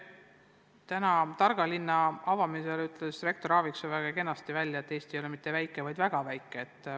Avades täna tarka linna, ütles rektor Aaviksoo väga kenasti välja, et Eesti ei ole mitte väike, vaid väga väike.